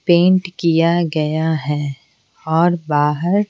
paint किया गया है और बाहर--